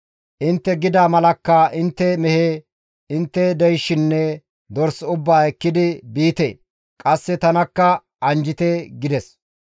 Intte gida malakka intte mehe; intte deyshinne dors ubbaa ekkidi biite! Qasse tanakka anjjite» gides.